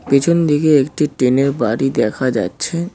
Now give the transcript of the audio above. পিছন দিকে একটি টিনের বাড়ি দেখা যাচ্ছে।